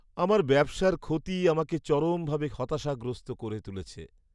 আমার ব্যবসার ক্ষতি আমাকে চরমভাবে হতাশাগ্রস্ত করে তুলেছে।